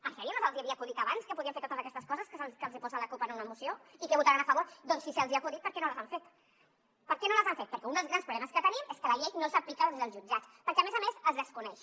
en sèrio no se’ls hi havia acudit abans que podien fer totes aquestes coses que els hi posa la cup en una moció i que votaran a favor doncs si se’ls hi ha acudit per què no les han fet per què no les han fet perquè un dels grans problemes que tenim és que la llei no s’aplica des dels jutjats perquè a més a més es desconeix